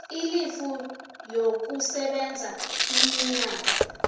ilifu yokusebenza iminyaka